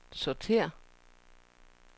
sortér